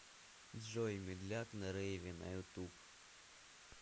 джой медляк на рейве на ютуб